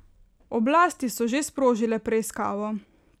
Oblasti so že sprožile preiskavo.